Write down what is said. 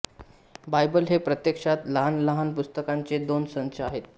Bible हे प्रत्यक्षात लहानलहान पुस्तिकांचे दोन संच आहेत